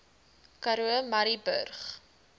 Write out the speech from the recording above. karoo murrayburg